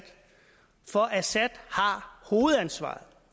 for assad har hovedansvaret